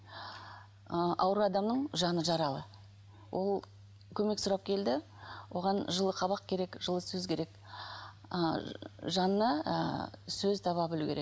ы ауру адамның жаны жаралы ол көмек сұрап келді оған жылы қабақ керек жылы сөз керек ы жанына ы сөз таба білу керек